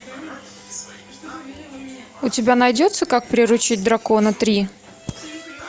у тебя найдется как приручить дракона три